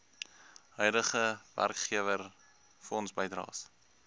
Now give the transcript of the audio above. huidige werkgewer fondsbydraes